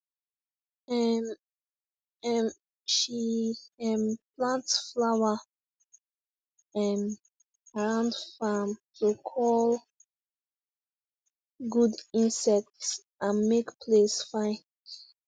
um um she um plant flower um around farm to call good insect and make place fine